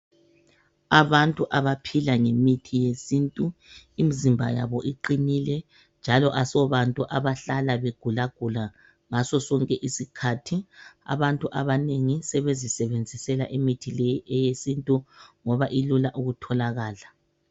Abantu abaphila ngemithi yesintu, imzimba yabo iqinile njalo asobantu abahlala begulagula ngasosonke isikhathi. Abantu abanengi sebezisebenzisela imithi yesintu ngoba ilula kutholakala.